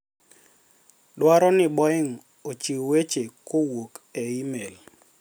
dwaro ni Boeing ochiw weche kowuok e e-mail